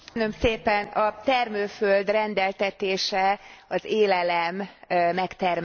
A termőföld rendeltetése az élelem megtermelése.